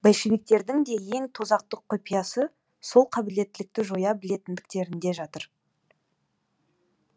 большевиктердің де ең тозақтық құпиясы сол қабілеттілікті жоя білетіндіктерінде жатыр